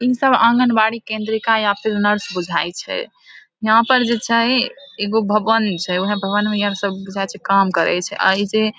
इ सब आंगनबाड़ी केंद्री का या फिर नर्स बुझाय छै यहाँ पर जे छै एगो भवन छै उहे भवन मे इहे सब बुझाय छै काम करै छै आ ई जे